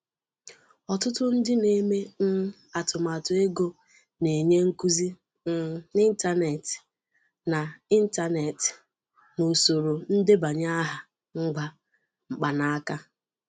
Ọtụtụ ndị na-eme um atụmatụ ego na-enye nkuzi um n'ịntanetị na n'ịntanetị na usoro ndebanye aha ngwa mkpanaka.